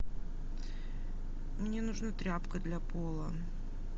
мне нужна тряпка для пола